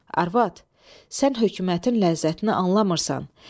Arvad, sən hökumətin ləzzətini anlamırsan.